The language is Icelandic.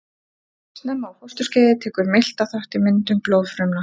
Snemma á fósturskeiði tekur miltað þátt í myndun blóðfrumna.